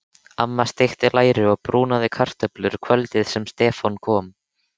Amma steikti læri og brúnaði kartöflur kvöldið sem Stefán kom.